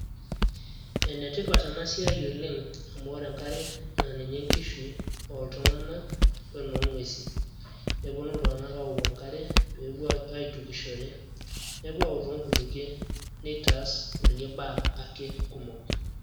Enetipat enasiai oleng' amu ore enkare naa ninye enkishui ooltung'anak wenoong'uesi, nepuonu iltung'anak aawoku enkare peepuo aitukishore, nepuo aawok toonkutukie neitaas kulie baa ake kumok.